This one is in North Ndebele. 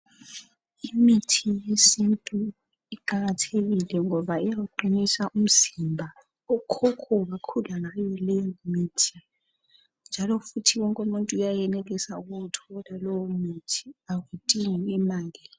Imithi yesintu iqakathekile ngoba iyawuqinisa umzimba. Okhokho bakhula ngayo leyimithi njalo futhi wonke umuntu uyayenelisa ukuwuthola lowo muthi, akudingi imali.